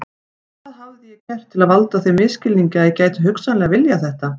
Hvað hafði ég gert til að valda þeim misskilningi að ég gæti hugsanlega viljað þetta?